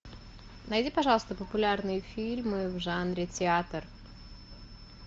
найди пожалуйста популярные фильмы в жанре театр